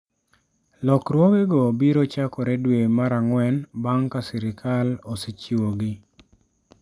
Lokruogego biro chakore dwe mar ang'wen bang ' ka sirkal osechiwogi.